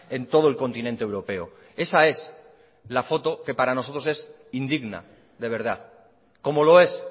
en todo el continente europeo esa es la foto que para nosotros es indigna de verdad como lo es